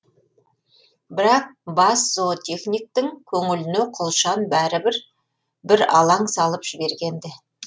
бірақ бас зоотехниктің көңіліне құлшан бәрібір бір алаң салып жіберген ді